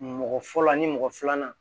Mɔgɔ fɔlɔ ni mɔgɔ filanan